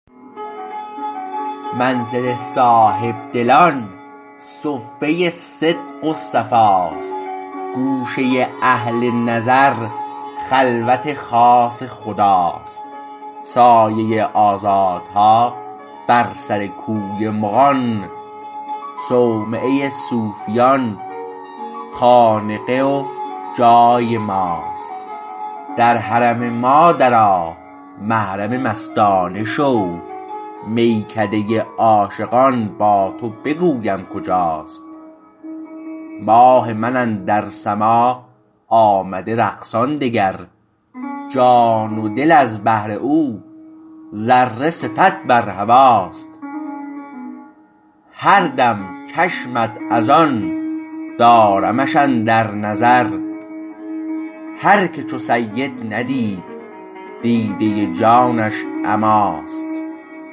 منزل صاحبدلان صفه صدق و صفاست گوشه اهل نظر خلوت خاص خداست سایه آزادها بر سر کوی مغان صومعه صوفیان خانقه و جای ماست در حرم ما در آ محرم مستانه شو میکده عاشقان با تو بگویم کجاست ماه من اندر سما آمده رقصان دگر جان و دل از بهر او ذره صفت بر هواست هر دم چشمت از آن دارمش اندر نظر هر که چو سید ندید دیده جانش عماست